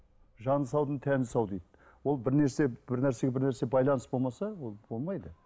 жаны саудың тәні сау дейді ол бірнәрсеге бірнәсе байланыс болмаса ол болмайды